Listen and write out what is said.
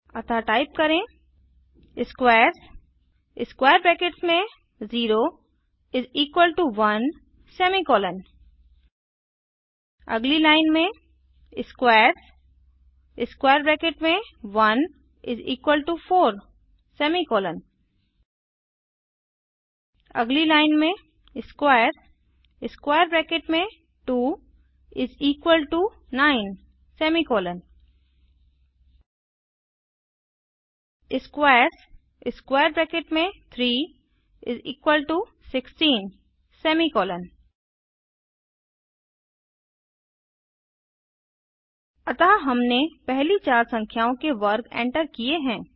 अतः टाइप करें squares0 1 अगली लाइन में squares1 4 अगली लाइन में squares2 9 squares3 16 अतः हमने पहली चार संख्याओं के वर्ग एंटर किए हैं